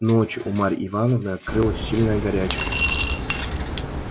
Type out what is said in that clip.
ночью у марь ивановны открылась сильная горячка